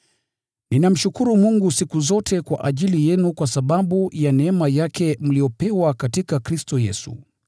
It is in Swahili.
Ninamshukuru Mungu siku zote kwa ajili yenu kwa sababu ya neema yake mliyopewa katika Kristo Yesu.